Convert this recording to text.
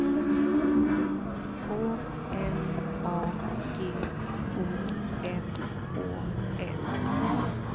K L A G O M Å L